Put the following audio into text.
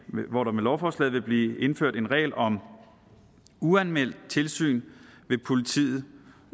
hvor der med lovforslaget vil blive indført en regel om uanmeldt tilsyn ved politiet